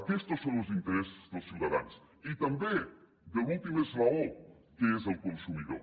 aquests són els interessos dels ciutadans i també de l’últim esglaó que és el consumidor